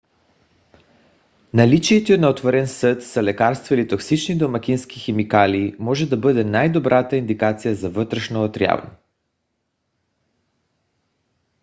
наличието на отворен съд с лекарство или токсични домакински химикали може да бъде най-добрата индикация за вътрешно отравяне